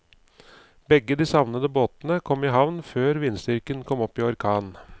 Begge de savnede båtene kom i havn før vindstyrken kom opp i orkan.